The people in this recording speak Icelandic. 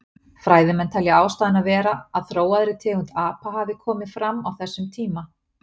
Fræðimenn telja ástæðuna vera að þróaðri tegund apa hafi komið fram á þessum tíma.